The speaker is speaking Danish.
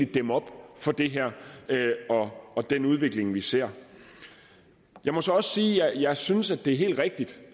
dæmme op for det her og den udvikling vi ser jeg må så også sige at jeg synes det er helt rigtigt